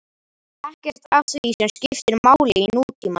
Ekkert af því sem skiptir máli í nútímanum.